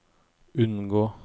unngå